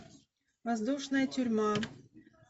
воздушная тюрьма